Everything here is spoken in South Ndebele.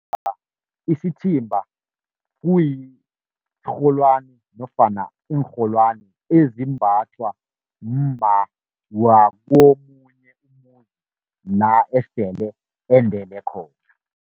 Isithimba kuyisirholwana nofana iinrholwani ezimbathwa mma wakomunye umuzi la esele endele khona.